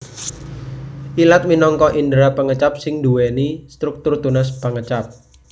Ilat minangka indera pangecap sing nduwèni struktur tunas pangecap